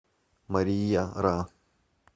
мария ра